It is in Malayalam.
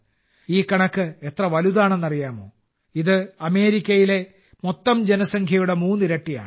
ഈ കണക്ക് എത്ര വലുതാണെന്ന് അറിയാമോ ഇത് അമേരിക്കയിലെ മൊത്തം ജനസംഖ്യയുടെ മൂന്നിരട്ടിയാണ്